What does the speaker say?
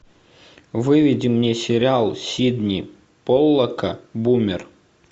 выведи мне сериал сидни поллака бумер